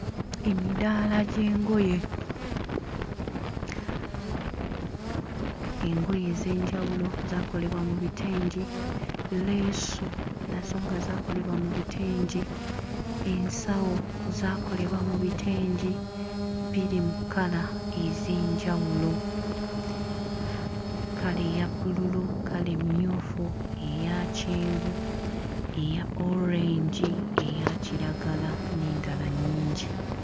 Emidaala gy'engoye engoye ez'enjawulo zaakolebwa mu bitengi leesu nazo nga zaakolebwa mu bitengi ensawo zaakolebwa mu bitengi biri mu kkala ez'enjawulo kkala eya bbululu, kkala emmyufu, eya kyenvu, eya orange, eya kiragala n'endala nnyingi.